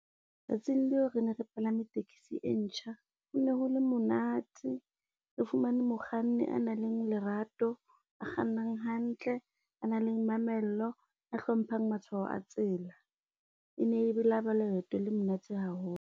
Tsatsing leo re ne re palame taxi e ntjha. Hone ho le monate re fumane mokganni a nang le lerato a kgannang hantle, a nang le mamello a hlomphang matshwao a tsela. E ne e laba leeto le monate haholo.